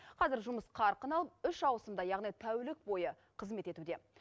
қазір жұмыс қарқын алып үш ауысымда яғни тәулік бойы қызмет етуде